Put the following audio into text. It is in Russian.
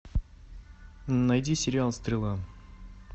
найди сериал стрела